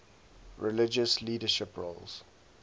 religious leadership roles